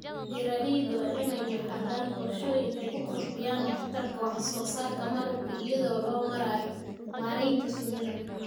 Beeralayda waa in ay lahaadaan qorshooyin ay ku kordhinayaan waxtarka wax soo saarka malabka iyada oo loo marayo maaraynta shinnida.